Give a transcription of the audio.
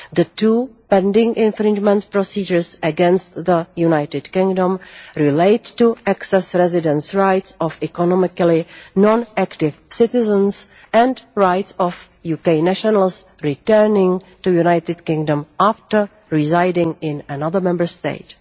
The two pending infringement procedures against the United Kingdom relate to access residence rights of economically non active citizens, and rights of UK nationals returning to the United Kingdom after residing in another Member State.